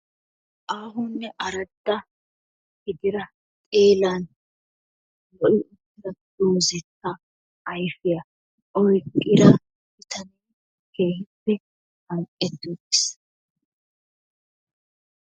arakka ha asati cadiidi de'iyo koyro tokketidaagee de'iyo koyro keehippe mangetti uttis.